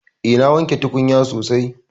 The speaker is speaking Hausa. Eh na wanke tukunya sosai.